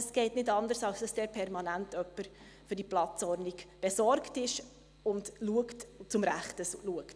Es geht nicht anders, als dass jemand dort permanent für die Platzordnung besorgt ist und zum Rechten schaut.